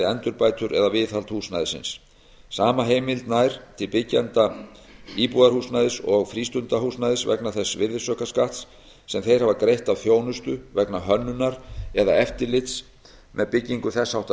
endurbætur eða viðhald húsnæðisins sama heimild nær til byggjenda íbúðarhúsnæðis og frístundahúsnæðis vegna þess virðisaukaskatts sem þeir hafa greitt af þjónustu vegna hönnunar eða eftirlits með byggingu þess háttar